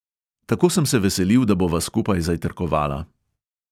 Tako sem se veselil, da bova skupaj zajtrkovala.